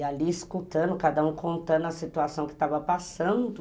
E ali escutando, cada um contando a situação que estava passando.